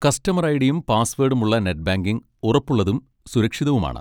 Customer ഐ.ഡി.യും പാസ്സ്‌വേഡും ഉള്ള നെറ്റ് ബാങ്കിംഗ് ഉറപ്പുള്ളതും സുരക്ഷിതവുമാണ്.